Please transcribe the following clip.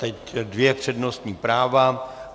Teď dvě přednostní práva.